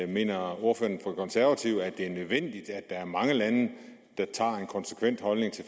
mener ordføreren konservative at det er nødvendigt at der er mange lande der indtager en konsekvent holdning til